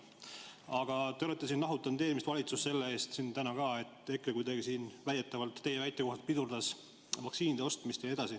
Aga te olete siin nahutanud eelmist valitsust selle eest, ka täna, et EKRE teie väite kohaselt kuidagi pidurdas vaktsiinide ostmist.